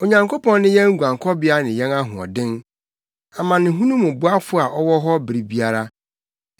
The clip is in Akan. Onyankopɔn ne yɛn guankɔbea ne yɛn ahoɔden, amanehunu mu boafo a ɔwɔ hɔ bere biara.